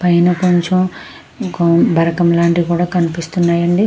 పైన కొంచెం బరకం లాంటియి కూడా కనిపిస్తున్నాయండి.